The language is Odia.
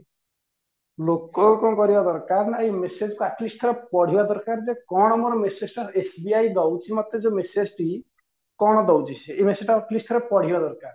ଲୋକ କଣ କରିବା ଦରକାର ନା ଏଇ message ଟା at least ଥରେ ପଢିବା ଦରକାର ଯେ କଣ ମୋର message ଟା SBI ଦଉଚି ମତେ ଯୋଉ message ଟି କଣ ଦଉଚି ସେ ଏଇ message ଟା at least ଥରେ ପଢିବା ଦରକାର